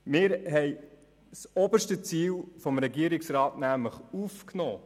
Wir haben das oberste Ziel des Regierungsrats aufgenommen.